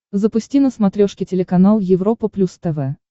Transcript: запусти на смотрешке телеканал европа плюс тв